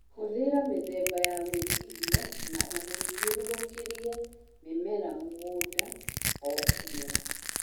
Hũthĩra mĩthemba ya gwĩtiria na ũthiũrũrũkie mĩmelr mũgũnda o kĩmera